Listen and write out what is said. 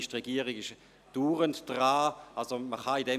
Die Regierung ist andauernd damit beschäftigt.